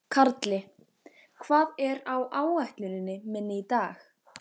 Karli, hvað er á áætluninni minni í dag?